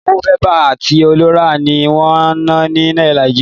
Owó Bébà àti ọlọ́rà ni wọn ń na ni ilẹ̀ Nàìjíríà.